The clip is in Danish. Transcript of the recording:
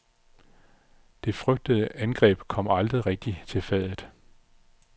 Det frygtede angreb kom aldrig rigtig til fadet.